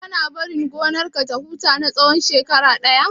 Kana barin gonar ka ya huta na tsawan shekara ɗaya?